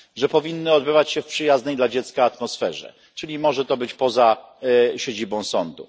Powinny odbywać się w przyjaznej dla dziecka atmosferze, czyli może to być poza siedzibą sądu.